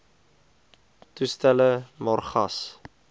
toestelle maar gas